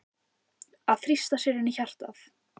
Að þrýsta sér inn í hjartað.